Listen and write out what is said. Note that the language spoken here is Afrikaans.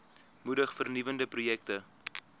moedig vernuwende projekte